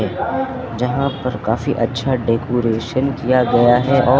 यहाँ पर काफी अच्छा डेकोरेटन किया गया है और--